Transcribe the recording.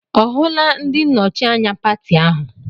Ọ hụla ndị nnọchi anya pati ahụ?